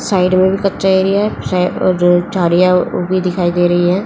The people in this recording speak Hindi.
साइड में भी कच्चा एरिया है सा अ झाड़ियां भी दिखाई दे रही है।